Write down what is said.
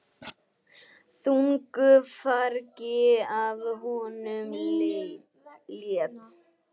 Þungu fargi af honum létt.